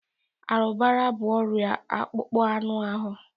Arụbara bụ ọrịa akpụkpọ anụ ahụ.